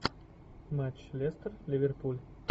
матч лестер ливерпуль